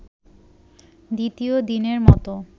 দ্বিতীয় দিনের মতো